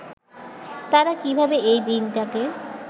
তারা কীভাবে এই দিনটাকে